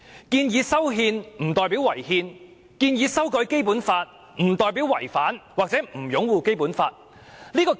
建議修憲不代表違憲，建議修改《基本法》亦不代表違反或不擁護《基本法》。